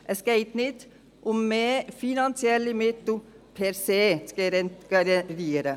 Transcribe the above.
Es geht nicht um mehr finanzielle Mittel per se.